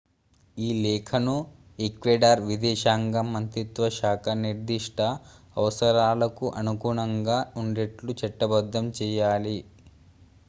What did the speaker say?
ఈ లేఖను ఈక్వెడార్ విదేశాంగ మంత్రిత్వ శాఖ నిర్దిష్ట అవసరాలకు అనుగుణంగా ఉండేట్లు చట్టబద్ధం చేయాలి